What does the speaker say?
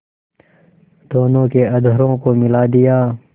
दोनों के अधरों को मिला दिया